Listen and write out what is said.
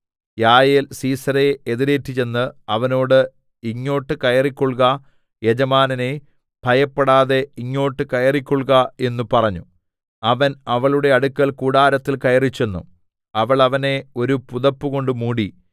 യായേൽ സീസെരയെ എതിരേറ്റുചെന്ന് അവനോട് ഇങ്ങോട്ട് കയറിക്കൊൾക യജമാനനേ ഭയപ്പെടാതെ ഇങ്ങോട്ട് കയറിക്കൊൾക എന്ന് പറഞ്ഞു അവൻ അവളുടെ അടുക്കൽ കൂടാരത്തിൽ കയറിച്ചെന്നു അവൾ അവനെ ഒരു പുതപ്പുകൊണ്ട് മൂടി